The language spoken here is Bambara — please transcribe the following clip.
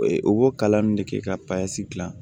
O b'o kalan nin de kɛ ka gilan